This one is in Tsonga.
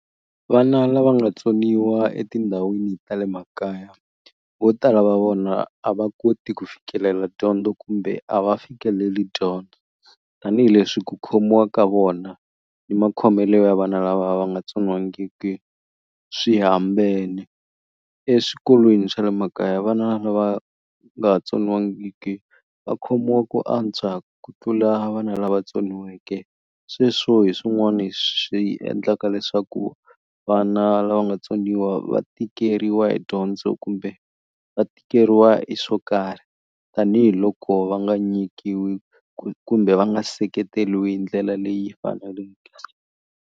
Vana lava nga tsoniwa etindhawini ta le makaya vo tala va vona a va koti ku fikelela dyondzo kumbe a va fikeleli dyondzo tanihileswi ku khomiwa ka vona ni makhomelo ya vana lava va nga tsoniwangiki swihambene eswikolweni swa le makaya vana lava nga tsoniwangiki va khomiwa ku antswa ku tlula vana lava tsoniweke sweswo hi swin'wani swi endlaka leswaku vana lava nga tsoniwa va tikeriwa hi dyondzo kumbe va tikeriwa hi swo karhi tanihiloko va nga nyikiwi kumbe va nga seketeliwi hi ndlela leyi faneleke.